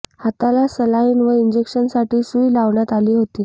हाताला सलाइन व इंजेक्शनसाठी सुई लावण्यात आली होती